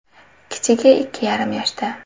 Kichigi ikki yarim yoshda.